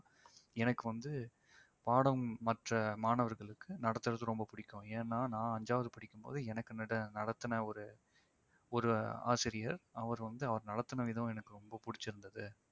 எனக்கு வந்து பாடம் மற்ற மாணவர்களுக்கு நடத்துவது ரொம்ப பிடிக்கும். ஏன்னா நான் அஞ்சாவது படிக்கும் போது எனக்கு நட~ நடத்துன ஒரு ஒரு ஆசிரியர் அவர் வந்து அவர் நடத்தின விதம் எனக்கு ரொம்ப பிடிச்சிருந்தது